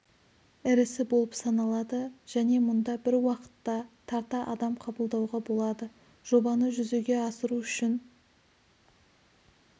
ірісі болып саналады және мұнда бір уақытта тарта адам қабылдауға болады жобаны жүзеге асыру үшін